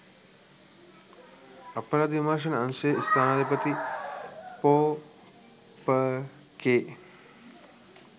අපරාධ විමර්ශන අංශයේ ස්ථානාධිපති ‍පො.ප. කේ